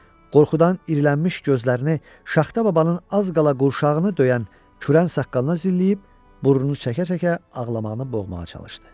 Qorxudan irilənmiş gözlərini Şaxta babanın az qala qurşağını döyən kürən saqqalına zilləyib, burnunu çəkə-çəkə ağlamağını boğmağa çalışdı.